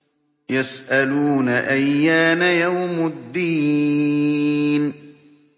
يَسْأَلُونَ أَيَّانَ يَوْمُ الدِّينِ